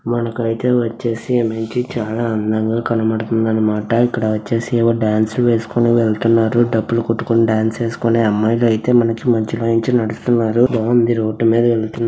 మనకయితే వచ్చేసి మనకి చాలా అందంగా కనబడుతుంది అనమాట ఇక్కడ వచ్చేసి డాన్సులు వేసుకుంటూ వెళుతున్నారు డప్పులు కొట్టుకుంటూడాన్సు లు వేసుకుంటూఅమ్మాయిలయితే మంచి మంచిగా నడుస్తున్నారు బాగుంది రోడ్డు మీద వెళుతున్నారు.